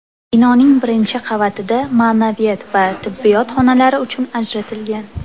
Binoning birinchi qavatida ma’naviyat va tibbiyot xonalari uchun ajratilgan.